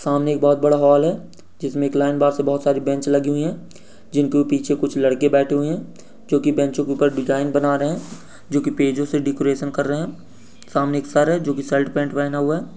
सामने एक बोहत बड़ा हॉल है जिसमे एक लाइन बार से बोहत सारी बेंच लगी हुई है जिनके पीछे कुछ लड़के बैठे हुए हैं जो कि बेंच के ऊपर डिज़ाइन बना रहे हैं जो कि पेजों से डेकरैशन कर रहे हैं | सामने एक सर है जो कि शर्ट पेंट पहन हुआ है।